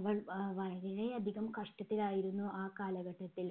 അവർ ആഹ് വളരെ അധികം കഷ്ടത്തിലായിരുന്നു ആ കാലഘട്ടത്തിൽ.